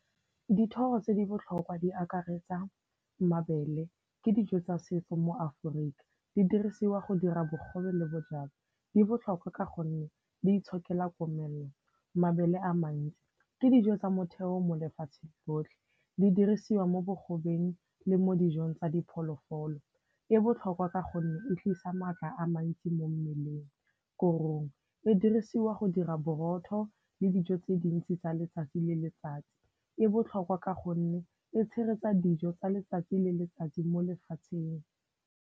Dithoro tse di botlhokwa di akaretsa mabele. Ke dijo tsa setso mo Aforika, di dirisiwa go dira bogobe le bojalwa. Di botlhokwa ka gonne di itshokela komelelo. Mabele a mantsi, ke dijo tsa motheo mo lefatsheng lotlhe, di dirisiwa mo bogobeng le mo dijong tsa diphologolo. E botlhokwa ka gonne e tlisa matla a mantsi mo mmeleng. Korong, e dirisiwa go dira borotho le dijo tse dintsi tsa letsatsi le letsatsi. E botlhokwa ka gonne e tshegetsa dijo tsa letsatsi le letsatsi mo lefatsheng.